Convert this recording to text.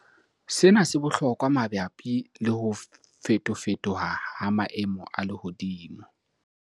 Sena se bohlokwa mabapi le ho fetofetoha ha maemo a lehodimo.